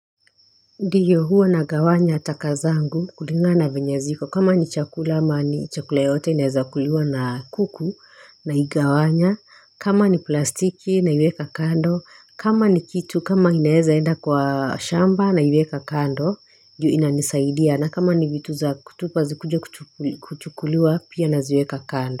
Ndiyo huwa na gawanya takazangu kulinga na venye ziko kama ni chakula ama ni chakula yote inaweza kuliwa na kuku na igawanya kama ni plastiki na iweka kando kama ni kitu kama inaweza enda kwa shamba na iweka kando juu inanisaidia na kama ni vitu za kutupa zikuja kuchukuliwa pia naziweka kando.